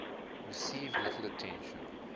received little attention